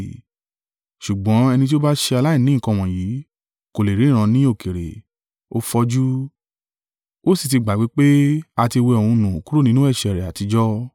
Ṣùgbọ́n ẹni tí ó bá ṣe aláìní nǹkan wọ̀nyí, kò lè ríran ní òkèèrè, ó fọjú, ó sì ti gbàgbé pé a ti wẹ òun nù kúrò nínú ẹ̀ṣẹ̀ rẹ̀ àtijọ́.